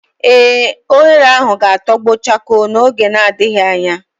ee, oghere ahu ga-atogbo chakoo n'oge adighi anya